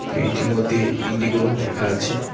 প্লেনটির মধ্যে ইন্ডিগো লেখা আছে।